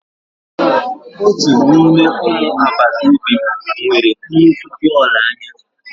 Otu n'ime ụmụ agbata obi m nwere nnukwu bọọlụ anya.